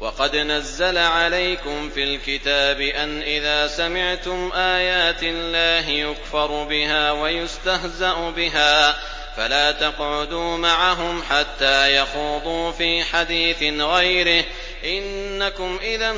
وَقَدْ نَزَّلَ عَلَيْكُمْ فِي الْكِتَابِ أَنْ إِذَا سَمِعْتُمْ آيَاتِ اللَّهِ يُكْفَرُ بِهَا وَيُسْتَهْزَأُ بِهَا فَلَا تَقْعُدُوا مَعَهُمْ حَتَّىٰ يَخُوضُوا فِي حَدِيثٍ غَيْرِهِ ۚ إِنَّكُمْ إِذًا